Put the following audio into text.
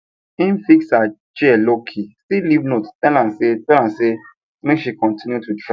im fix her chair lowkey still leave note tell her say tell her say make she continue to try